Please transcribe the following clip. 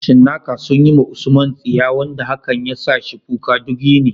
Cinnaka sun yi wa USMAN tsiya wanda hakan ya sa shi kuka duk yini.